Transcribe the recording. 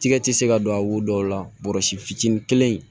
Tigɛ ti se ka don a wo dɔw la fitinin kelen in